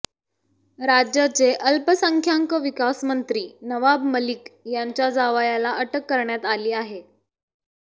राज्याचे अल्पसंख्याक विकास मंत्री नवाब मलिक यांच्या जावयाला अटक करण्यात आली आहे